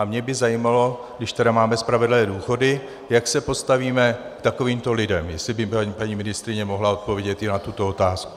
A mě by zajímalo, když tedy máme spravedlivé důchody, jak se postavíme k takovýmto lidem, jestli by paní ministryně mohla odpovědět i na tuto otázku.